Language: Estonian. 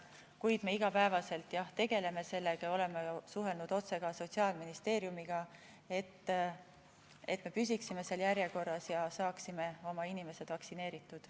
Kuid me tegeleme selle küsimusega iga päev ja oleme ka suhelnud otse Sotsiaalministeeriumiga, et me püsiksime seal järjekorras ja saaksime oma inimesed vaktsineeritud.